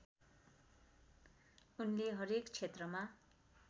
उनले हरेक क्षेत्रमा